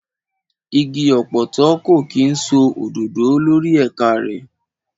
Igi ọ̀pọ̀tọ́ kò kí ń so òdòdó lórí ẹ̀ka rẹ̀.